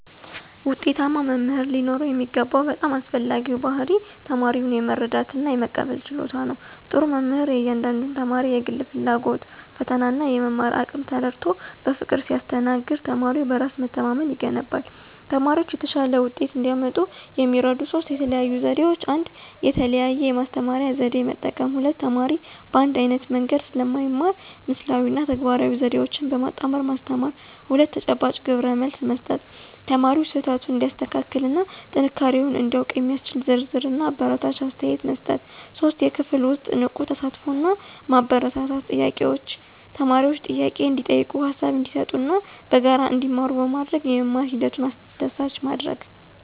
ውጤታማ መምህር ሊኖረው የሚገባው በጣም አስፈላጊው ባሕርይ ተማሪውን የመረዳትና የመቀበል ችሎታ ነው። ጥሩ መምህር የእያንዳንዱን ተማሪ የግል ፍላጎት፣ ፈተናና የመማር አቅም ተረድቶ በፍቅር ሲያስተናግድ ተማሪው በራስ መተማመን ይገነባል። ተማሪዎች የተሻለ ውጤት እንዲያመጡ የሚረዱ ሦስት የተለዩ ዘዴዎች፦ 1. የተለያየ የማስተማሪያ ዘዴ መጠቀም: ሁሉም ተማሪ በአንድ ዓይነት መንገድ ስለማይማር ምስላዊ እና ተግባራዊ ዘዴዎችን በማጣመር ማስተማር። 2. ተጨባጭ ግብረመልስ መስጠት: ተማሪው ስህተቱን እንዲያስተካክልና ጥንካሬውን እንዲያውቅ የሚያስችል ዝርዝርና አበረታች አስተያየት መስጠት። 3. የክፍል ውስጥ ንቁ ተሳትፎን ማበረታታት: ተማሪዎች ጥያቄ እንዲጠይቁ፣ ሃሳብ እንዲሰጡና በጋራ እንዲማሩ በማድረግ የመማር ሂደቱን አስደሳች ማድረግ።